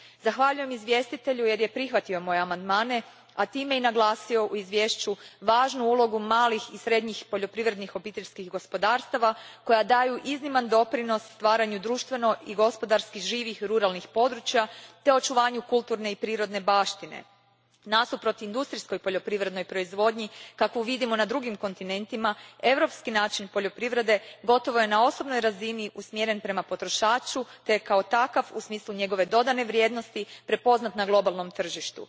Zahvaljujem izvjestitelju jer je prihvatio moje amandmane, a time i naglasio u izvješću važnu ulogu malih i srednjih poljoprivrednih obiteljskih gospodarstava koja daju izniman doprinos stvaranju društveno i gospodarski živih ruralnih područja te očuvanju kulturne i prirodne baštine. Nasuprot industrijskoj poljoprivrednoj proizvodnji kakvu vidimo na drugim kontinentima, europski način poljoprivrede gotovo je na osobnoj razini usmjeren prema potrošaču te je kao takav, u smislu njegove dodane vrijednosti, prepoznat na globalnom tržištu.